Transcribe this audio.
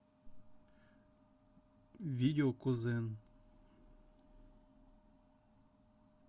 видео кузен